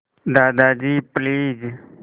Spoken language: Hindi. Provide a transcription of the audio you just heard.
दादाजी प्लीज़